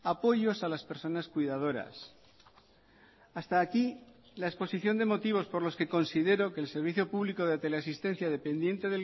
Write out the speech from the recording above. apoyos a las personas cuidadoras hasta aquí la exposición de motivos por los que considero que el servicio público de teleasistencia dependiente